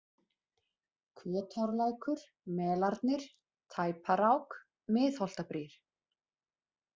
Kotárlækur, Melarnir, Tæparák, Miðholtabrýr